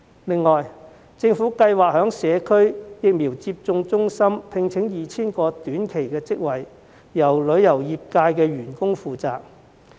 此外，政府計劃在社區疫苗接種中心開設 2,000 個短期職位，招聘旅遊業從業員。